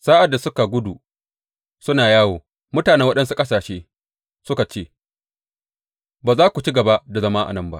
Sa’ad da suka gudu suna yawo, mutanen waɗansu ƙasashe suka ce, Ba za su ci gaba da zama a nan ba.